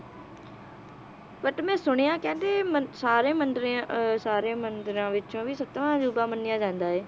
But ਮੈ ਸੁਣਿਆ ਕਹਿੰਦੇ ਮੰ~ ਸਾਰੇ ਮੰਦਰਾਂ ਅਹ ਸਾਰੇ ਮੰਦਿਰਾਂ ਵਿੱਚੋ ਵੀ ਸੱਤਵਾਂ ਅਜੂਬਾ ਮੰਨਿਆ ਜਾਂਦਾ ਇਹ।